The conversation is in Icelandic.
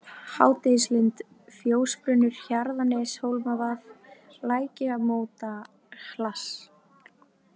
Hádegislind, Fjósbrunnur, Hjarðarneshólmavað, Lækjamótahlass